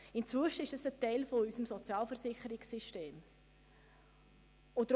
Inzwischen stellen diese jedoch einen Teil unseres Sozialversicherungssystems dar.